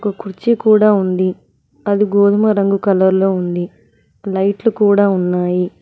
కుర్చీ కూడా ఉంది అది గోధుమ రంగు కలర్ లో ఉంది లైట్ లు కూడా ఉన్నాయి.